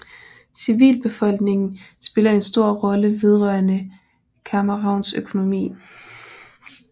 Civilbefolkningen spiller en stor rolle vedrørende Camerouns økonomi